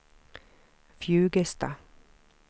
Fjugesta